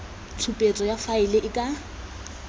tshupetso ya faele e ka